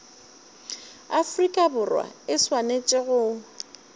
afrika borwa e swanetše go